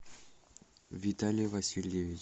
виталий васильевич